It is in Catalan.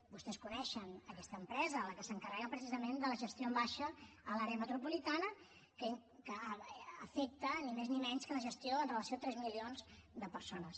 vostès coneixen aquesta empresa la que s’encarrega precisament de la gestió en baixa a l’àrea metropolitana que afecta ni més ni menys que la gestió amb relació a tres milions de persones